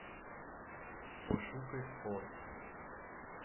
пошукай спорт